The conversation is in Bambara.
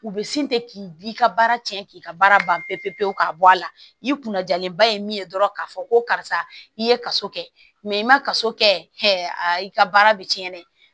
U bɛ sin ten k'i ka baara cɛn k'i ka baara ban pewu pewu pewu ka bɔ a la i kunna jalenba ye min ye dɔrɔn k'a fɔ ko karisa i ye kaso kɛ mɛ i ma kaso kɛ a i ka baara bɛ cɛn dɛ